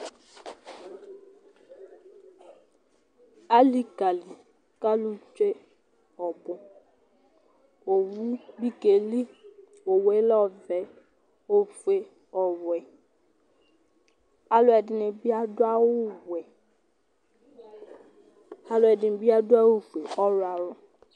Alìka li kʋ alu tsue ɔbʋ Owu bi keli Owuɛ lɛ ɔfʋe, ɔfʋe, ɔwɛ Alʋbu bi aɖu awu wɛ Alʋɛdìní bi aɖu awu fʋe, ɔwlɔmɔ